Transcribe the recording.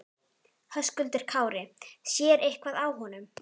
Höskuldur Kári: Sér eitthvað á honum?